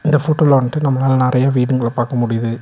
இந்த போட்டோல வன்ட்டு நம்மளால நெறைய வீடுகள பாக்க முடியிது.